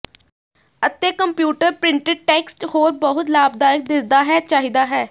ਅਤੇ computer printed text ਹੋਰ ਬਹੁਤ ਲਾਭਦਾਇਕ ਦਿਸਦਾ ਹੈ ਚਾਹੀਦਾ ਹੈ